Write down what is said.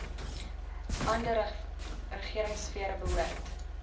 ander regeringsfere behoort